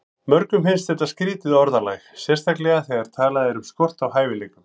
Mörgum finnst þetta skrýtið orðalag, sérstaklega þegar talað er um skort á hæfileikum.